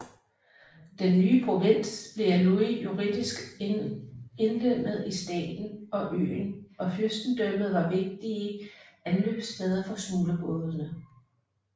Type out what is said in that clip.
Den nye provins blev af Louis juridisk indlemmet i staten og øen og fyrstendømmet var vigtige anløbssteder for smuglerbådene